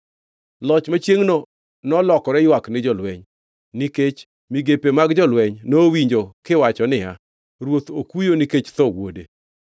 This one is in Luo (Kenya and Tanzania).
Loch machiengʼno nolokore ywak ni jolweny, nikech migepe mag jolweny, nowinjo kiwacho niya, “Ruoth okuyo nikech tho wuode.”